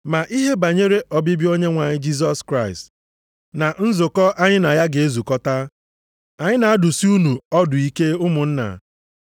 Ma ihe banyere ọbịbịa Onyenwe anyị Jisọs Kraịst, na nzukọ anyị na ya ga-ezukọta, anyị na-adụsị unu ọdụ ike ụmụnna.